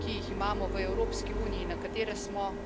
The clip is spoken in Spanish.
paneuropeos de pensiones privadas.